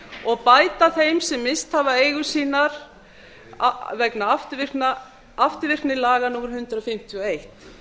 og bæta þeim sem misst hafa eigur sínar vegna afturvirkni laga númer hundrað fimmtíu og eitt